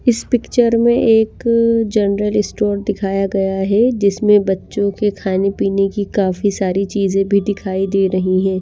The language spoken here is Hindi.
इस पिक्चर में एक जनरल स्टोर दिखाया गया है जिसमें बच्चों के खाने पीने की काफी सारी चीजें भी दिखाई दे रही हैं।